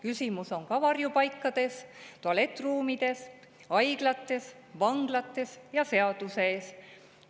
Küsimused ka varjupaikades, tualettruumides, haiglates, vanglates ja seaduse ees.